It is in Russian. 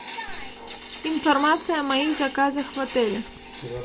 информация о моих заказах в отеле